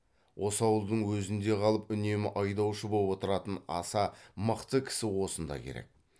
осы ауылдың өзінде қалып үнемі айдаушы боп отыратын аса мықты кісі осында керек